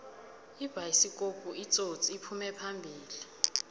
ibayisikopu itsotsi iphume phambili